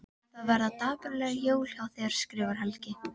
Það verða dapurleg jól hjá þér skrifar Helgi.